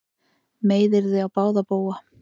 Meiðyrði á báða bóga